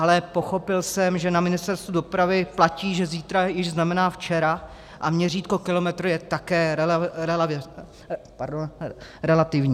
Ale pochopil jsem, že na Ministerstvu dopravy platí, že zítra již znamená včera a měřítko kilometru je také relativní.